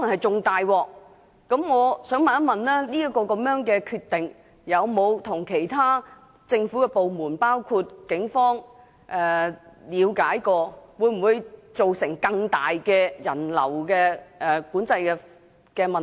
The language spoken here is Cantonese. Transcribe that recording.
請問康文署有否就這決定與其他政府部門商討，以了解會否造成更大的人流管制問題？